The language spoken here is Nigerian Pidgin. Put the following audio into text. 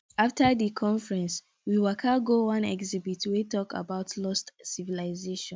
after di conference we waka go one exhibit wey talk about lost civilization